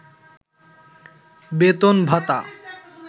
বেতন-ভাতা